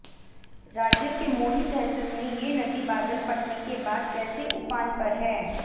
राज्य के मोरी तहसील में ये नदी बादल फटने के बाद कैसे ऊफान पर है